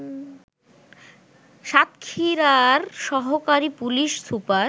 সাতক্ষীরার সহকারী police super